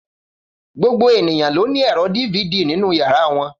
Gbogbo ènìyàn ló ní ẹ̀rọ DVD nínú yàrá wọn.